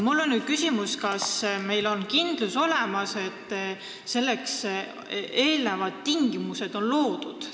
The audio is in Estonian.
Mul on nüüd küsimus, kas meil on olemas kindlus, et selleks on vajalikud tingimused loodud.